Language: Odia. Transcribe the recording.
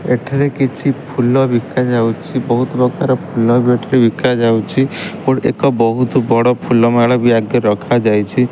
ଏଠାରେ କିଛି ଫୁଲ ବିକା ଯାଉଛି‌। ବହୁତ ପ୍ରକାର ଫୁଲ ବି ଏଠାରେ ବିକା ଯାଉଛି। ଗୋଟେ ଏକ ବୋହୁତ ବଡ଼ ଫୁଲମାଳ ବି ଆଗରେ ରଖାଯାଇଛି।